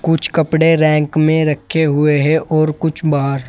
कुछ कपड़े रैक में रखे हुए हैं और कुछ बाहर।